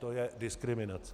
To je diskriminace!